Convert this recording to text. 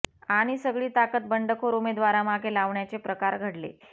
आणि सगळी ताकद बंडखोर उमेदवारामागे लावण्याचे प्रकार घडले